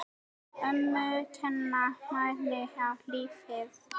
Ömmur kenna manni á lífið.